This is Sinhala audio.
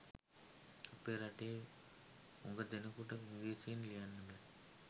අපේ රටේ හුඟ දෙනෙකුට ඉංග්‍රීසියෙන් ලියන්න බෑ.